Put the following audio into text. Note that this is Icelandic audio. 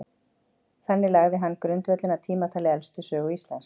þannig lagði hann grundvöllinn að tímatali elstu sögu íslands